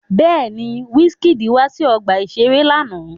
Bẹ́ẹ̀ni, Wizkid wá sí ọgbà-ìṣeré lánàá